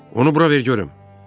Onu bura ver görüm.